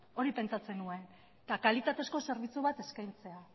hori pentsatzen nuen eta kalitatezko zerbitzu bat eskaintzea